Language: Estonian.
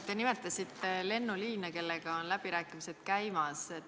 Te nimetasite lennuliine, mille üle on läbirääkimised käimas.